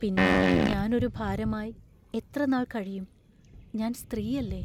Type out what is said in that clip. പിന്നെ ഞാൻ ഒരു ഭാരമായി എത്രനാൾ കഴിയും; ഞാൻ സ്ത്രീയല്ലേ?